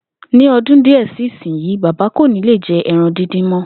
Ní o̩dún díè si ìsinyií, bàbá kò ní lè je̩ e̩ran díndín mó̩